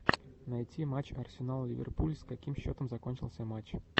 найти матч арсенал ливерпуль с каким счетом закончился матч